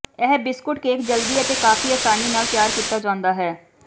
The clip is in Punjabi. ਇਹ ਬਿਸਕੁਟ ਕੇਕ ਜਲਦੀ ਅਤੇ ਕਾਫ਼ੀ ਆਸਾਨੀ ਨਾਲ ਤਿਆਰ ਕੀਤਾ ਜਾਂਦਾ ਹੈ